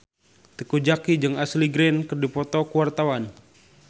Teuku Zacky jeung Ashley Greene keur dipoto ku wartawan